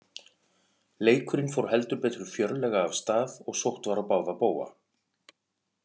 Leikurinn fór heldur betur fjörlega af stað og sótt var á báða bóga.